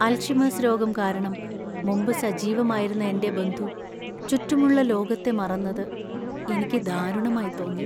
Alzheimer's രോഗം കാരണം മുമ്പ് സജീവമായിരുന്ന എന്‍റെ ബന്ധു ചുറ്റുമുള്ള ലോകത്തെ മറന്നത് എനിക്ക് ദാരുണമായി തോന്നി.